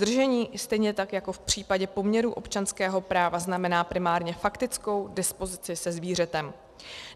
Držení, stejně tak jako v případě poměru občanského práva, znamená primárně faktickou dispozici se zvířetem.